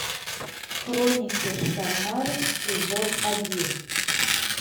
хроники шаннары сезон один